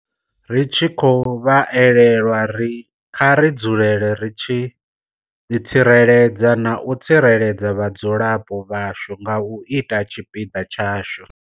Ri tshi khou vha elelwa, kha ri dzulele ri tshi ḓitsireledza na u tsireledza vhadzulapo vhashu nga u ita tshipiḓa tshashu.